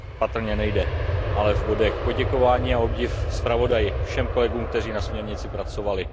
To patrně nejde. Ale v bodech. Poděkování a obdiv zpravodaji, všem kolegům, kteří na směrnici pracovali.